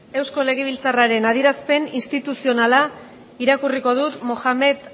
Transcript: eusko legebiltzarraren adierazpen instituzionala irakurriko dut mohamed